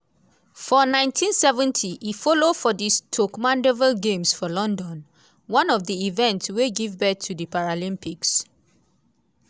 for 1970 e follow for di stoke mandeville games for london - one of di events wey give birth to di paralympics.